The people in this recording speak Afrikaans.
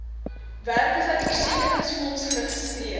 werkloosheidversekeringsfonds geregistreer